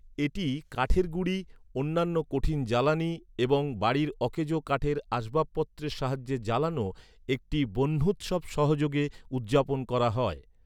এটি কাঠের গুঁড়ি, অন্যান্য কঠিন জ্বালানি এবং বাড়ির অকেজো কাঠের আসবাবপত্রের সাহায্যে জ্বালানো একটি বহ্ন্যুৎসব সহযোগে উদযাপন করা হয়।